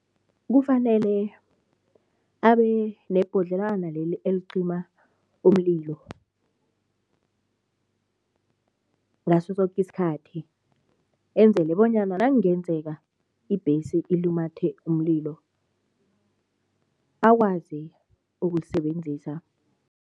Kufanele abe nebhodlelwana leli elicima umlilo ngaso soke isikhathi. Ezele bonyana nakungenzeka ibhesi ilumathe umlilo, akwazi ukulisebenzisa.